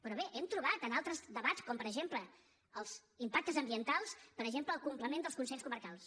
però bé hem trobat en altres debats com per exemple els impactes ambientals per exemple el complement dels consells comarcals